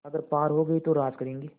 अगर पार हो गये तो राज करेंगे